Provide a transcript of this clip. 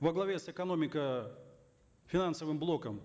во главе с экономико финансовым блоком